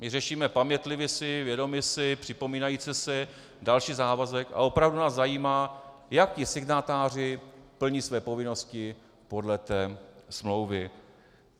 My řešíme: pamětlivi si, vědomi si, připomínajíce si další závazek, a opravdu nás zajímá, jak ti signatáři plní své povinnosti podle té smlouvy.